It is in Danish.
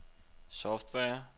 software